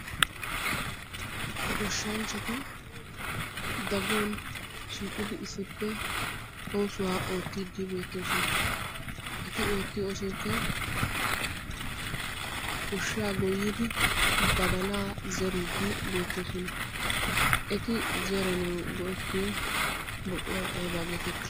Goshshanchati daguwan shiiqidi issippe oosuwa oottiiddi beettoosona. Eti oottiyo oosoykka goshshaa goyyidi badala zeriiddi beettoosona. Eti zeranawu go"ettiyo buquray ayba geetettii?